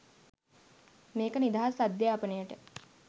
මේක නිදහස් අධ්‍යාපනයට